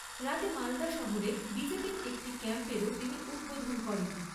রাতে মালদা শহরে বিজেপির একটি ক্যাম্পেরও তিনি উদ্ধোধন করেন।